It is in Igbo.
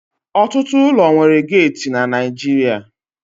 Ọtụtụ ụlọ nwere geeti na Naịjirịa